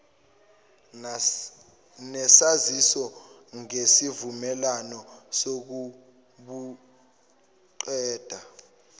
nesaziso ngesivumelwano sokubuqeda